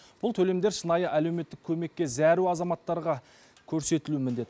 бұл төлемдер шынайы әлеуметтік көмекке зәру азаматтарға көрсетілуі міндет